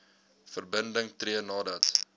verbinding tree nadat